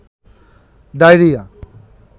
diarrhoea